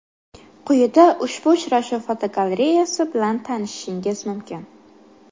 Quyida ushbu uchrashuv fotogalereyasi bilan tanishishingiz mumkin.